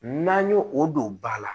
N'an y'o o don ba la